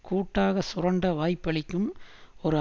கூட்டாக சுரண்ட வாய்ப்பளிக்கும் ஒரு